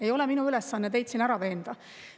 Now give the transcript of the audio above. Ei ole minu ülesanne teid siin ära veenda.